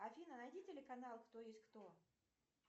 афина найди телеканал кто есть кто